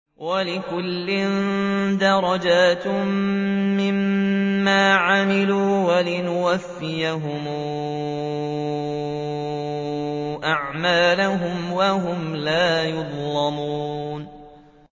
وَلِكُلٍّ دَرَجَاتٌ مِّمَّا عَمِلُوا ۖ وَلِيُوَفِّيَهُمْ أَعْمَالَهُمْ وَهُمْ لَا يُظْلَمُونَ